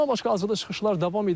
Bundan başqa hazırda çıxışlar davam edir.